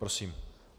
Prosím.